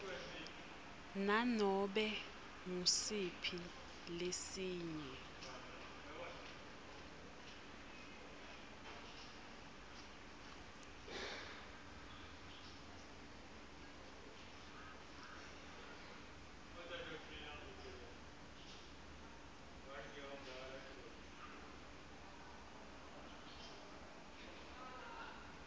nanobe ngusiphi lesinye